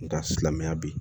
Nga silamɛya bi